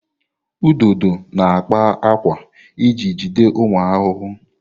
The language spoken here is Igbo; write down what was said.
Ududo na-akpa ákwà iji jide ụmụ ahụhụ.